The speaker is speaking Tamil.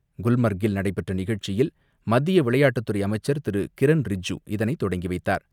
குல்மர்க்கில் நடைபெற்ற நிகழ்ச்சியில் மத்திய விளையாட்டுத் துறை அமைச்சர் திருகிரண் ரிஜிஜூ இதனை தொடங்கி வைத்தார்.